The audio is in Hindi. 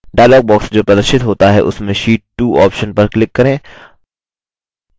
dialog box जो प्रदर्शित होता है उसमें sheet 2 option पर click करें